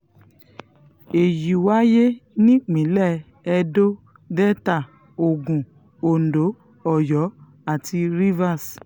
èyí wáyé nípínlẹ̀ edo delta ogun ondo oyo àti rivers